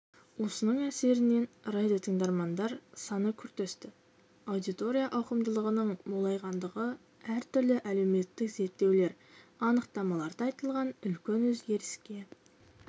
осының әсерінен радиотыңдармандар саны күрт өсті аудитория ауқымдылығының молайғандығы әртүрлі әлеуметтік зерттеулер анықтамаларда айтылған үлкен өзгеріске